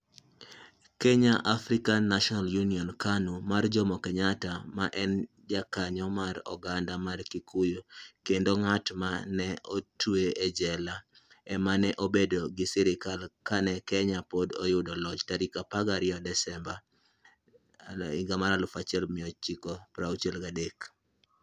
"Kenya African National Union (KANU) mar Jomo Kenyatta, ma en jakanyo mar oganda mar Kikuyu kendo ng'at ma ne otwe e jela, ema ne obedo gi sirkal kane Kenya pok oyudo loch tarik 12 Desemba, 1963.